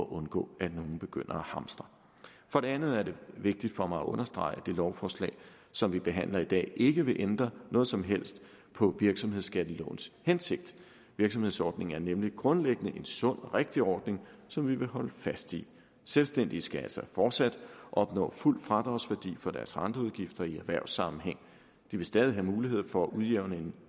undgå at nogle begynder at hamstre for det andet er det vigtigt for mig at understrege at det lovforslag som vi behandler i dag ikke vil ændre noget som helst på virksomhedsskattelovens hensigt virksomhedsordningen er nemlig grundlæggende en sund og rigtig ordning som vi vil holde fast i selvstændige skal altså fortsat opnå fuld fradragsværdi for deres renteudgifter i erhvervssammenhæng de vil stadig have mulighed for at udjævne en